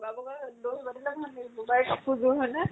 বগা বগা কাপোৰ যোৰ হয়্নে?